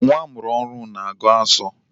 Nwa amụrụ ọhụrụ na-agu asọ.